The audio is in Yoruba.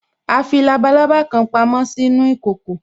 A fi labalábá kan pamo sínú ìkòkò